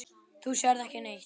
Þú sérð ekki neitt!